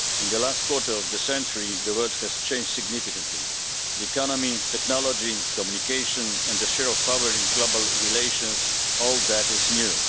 In the last quarter of a century, the world has changed significantly. The economy, technology, communications and the share of power in global relations all that is new.